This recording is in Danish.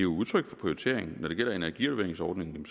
udtryk for prioritering når det gælder energirenoveringsordningen